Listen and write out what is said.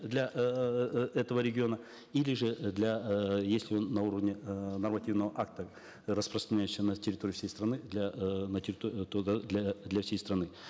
для эээ этого региона или же для э если он на уровне э нормативного акта распространяющегося на территории всей страны для эээ для для всей страны